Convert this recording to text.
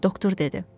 Doktor dedi.